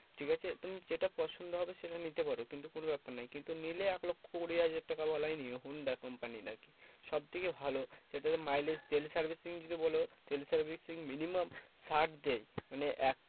ঠিকাছে? তুমি যেটা পছন্দ হবে সেটা নিতে পারো। কিন্তু কোনো ব্যাপার নয়। কিন্তু নিলে এক লক্ষ্য কুড়ি হাজার টাকা বালাই নিও হোন্ডা company র আরকি। সবথেকে ভালো সেটাতে mileage তেল servicing যদি বলো, তেল servicing minimum ষাট দেবে। মানে এক